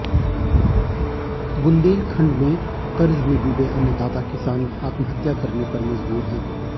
बुन्देलखंड में कर्ज में डूबे अन्नदाता किसान आत्महत्या करने पर मजबूर है